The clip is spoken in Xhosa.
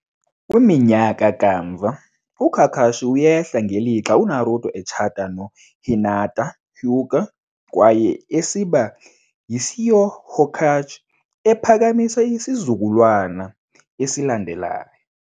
Kwiminyaka kamva, uKakashi uyehla ngelixa uNaruto etshata noHinata Hyuga kwaye esiba yiSeokth Hokage, ephakamisa isizukulwana esilandelayo.